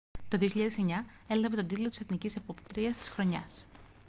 το 2009 έλαβε τον τίτλο της εθνικής επόπτριας της χρονιάς